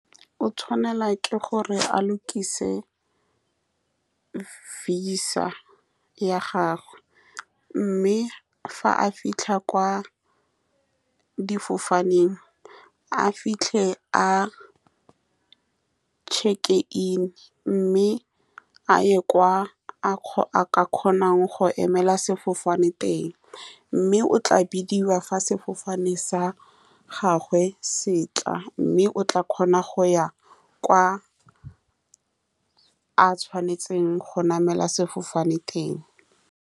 O tshwanetse gore a lokise visa ya gagwe, mme fa a fitlha kwa difofaneng a fitlhe a check-in, mme a ye kwa a a ka kgonang go emela sefofane teng, mme o tla bidiwa fa sefofane sa gagwe se tla, mme o tla kgona go ya kwa a tshwanetseng go namela sefofane teng.